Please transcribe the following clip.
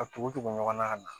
A tugu tugu ɲɔgɔn na ka na